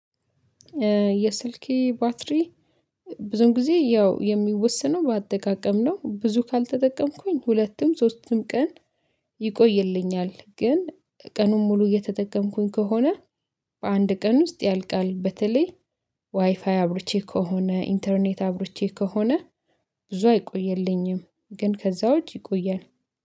የስልኬ ባትሪ ብዙም ጊዜ ያው የሚወሰነው በአጠቃቀም ነው። ብዙ ካልተጠቀምኩኝ ሁለቱም ሶስቱም ቀን ይቆይልኛል። ግን ቀኑን ሙሉ እየተጠቀምኩኝ ከሆነ በአንድ ቀን ውስጥ ያልቃል። በተለይ ዋይፋይ አብርቼ ከሆነ ኢንተርኔት አብሮቼ ከሆነ ብዙ አይቆይልኝም። ግን ከዛው ዉጭ ይቆያል